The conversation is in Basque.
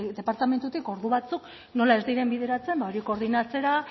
departamentutik ordu batzuk ez diren bideratzen hori koordinatzera